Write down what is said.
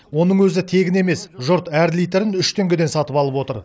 оның өзі тегін емес жұрт әр литрін үш теңгеден сатып алып отыр